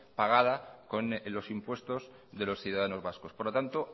pagada con los impuestos de los ciudadanos vascos por lo tanto